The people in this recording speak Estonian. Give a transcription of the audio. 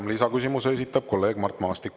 Ja lisaküsimuse esitab kolleeg Mart Maastik.